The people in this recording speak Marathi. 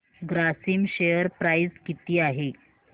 ग्रासिम शेअर प्राइस किती आहे